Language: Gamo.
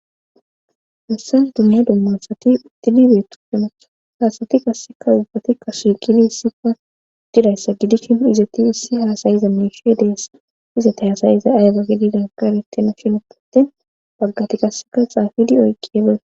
hassan dumma dummasati utilibeetu hemactho haasati kasseka ubbatikka shiiqidi hissipa didayssa gidishi nu izati ussi haasayiza meshe dees izati hasayiza ayga gedidan karetina shinu potin baggati kasseka xaafidi oyqqeebe